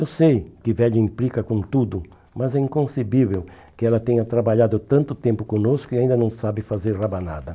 Eu sei que velho implica com tudo, mas é inconcebível que ela tenha trabalhado tanto tempo conosco e ainda não sabe fazer rabanada.